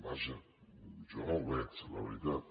vaja jo no el veig la veritat